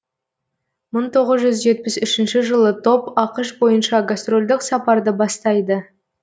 мың тоғыз жүз жетпіс үшнші жылы топ ақш бойынша гастрольдік сапарды бастайды